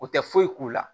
O tɛ foyi k'u la